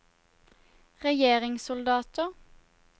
regjeringssoldater